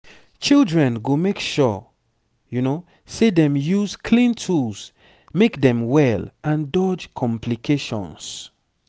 children go make sure say dem use clean tools make dem well and dodge complications